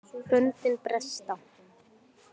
Böndin bresta